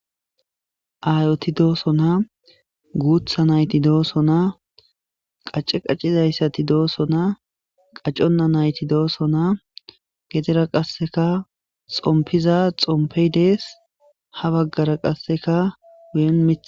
aayoti dooso naa guutha nayti dooso naa qace qaccizayssati dooso naa qaconna nayti dooso naa getera qasseka xompiza xompey dees ha baggara qasseka wen mith